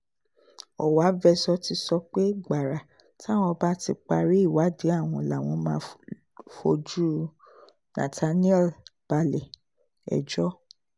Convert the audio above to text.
ọ̀wávezor ti sọ pé gbàrà táwọn bá ti parí ìwádìí àwọn làwọn máa fojú nathanielle balẹ̀-ẹjọ́